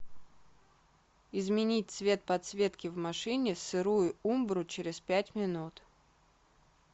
изменить цвет подсветки в машине сырую умбру через пять минут